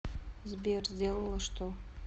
сбер сделала что